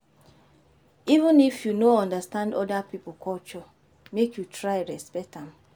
Even if you no understand oda pipo culture, make you try respect am.